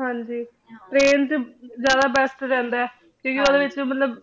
ਹਾਂਜੀ train ਚ ਜਿਆਦਾ best ਰਹੰਦਾ ਆਯ ਕ੍ਯੂ ਕੇ ਓਦੇ ਚ